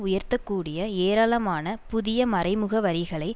உயர்த்த கூடிய ஏராளமான புதிய மறைமுக வரிகளை